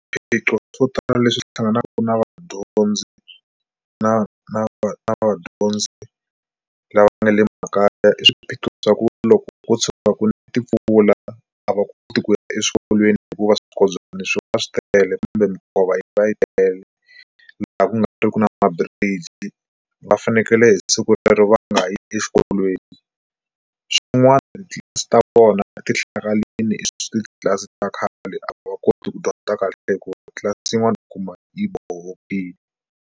Swiphiqo swo tala leswi hlanganaka na vadyondzi na na na vadyondzi lava nga le makaya i swiphiqo swa ku loko ko tshuka ku ne timpfula a va koti ku ya exikolweni hikuva swinkobyani swi va swi tele kumbe minkova va yi tele laha ku nga riki na ma-bridge va fanekele hi siku rero va nga yi exikolweni. Swin'wana titlilasi ta vona ti hlakarile i titlilasi ta khale a va koti ku dyondza kahle hikuva tlilasi yin'we yi kuma yi .